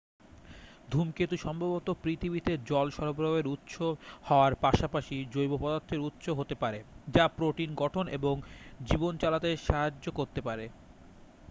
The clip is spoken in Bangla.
ধূমকেতু সম্ভবত পৃথিবীতে জল সরবরাহের উৎস হওয়ার পাশাপাশি জৈব পদার্থের উৎস হতে পারে যা প্রোটিন গঠন এবং জীবন চালাতে সাহায্য করতে পারে